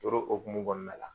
Tor'o hokumu kɔɔna la